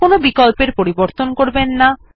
কোনো বিকল্পের পরিবর্তন করবেন না